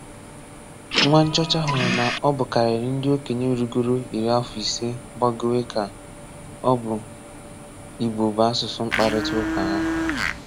Nwa nchọ́chá hụrụ na ọ bụ̀karịrị ndị òkènyè rùgòrò ìrí afọ ise gbagọ̀wé ka ọ bụ Ìgbò bụ asụ̀sụ́ mkpàrịtàụ̀kà hà.